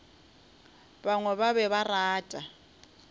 bangwe ba be ba rata